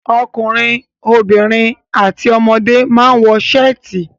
Ọkùnrin, obìnrin àti ọmọdé máa ń wọ ṣáàtì.